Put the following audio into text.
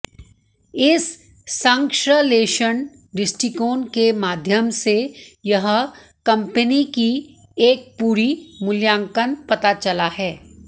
इस संश्लेषण दृष्टिकोण के माध्यम से यह कंपनी की एक पूरी मूल्यांकन पता चला है